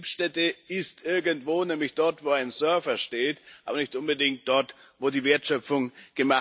Die Betriebsstätte ist irgendwo, nämlich dort, wo ein Server steht, aber nicht unbedingt dort, wo die Wertschöpfung erfolgt.